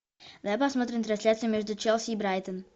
давай посмотрим трансляцию между челси и брайтон